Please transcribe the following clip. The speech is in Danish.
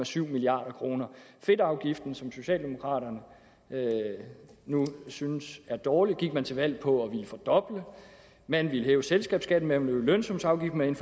sytten milliard kroner fedtafgiften som socialdemokraterne nu synes er dårlig gik man til valg på at ville fordoble man ville hæve selskabsskatten man ville lave lønsumsafgift man